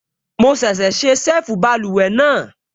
Mo ṣẹ̀ṣẹ̀ ṣe ṣẹ́ẹ̀fù báluwẹ̀ náà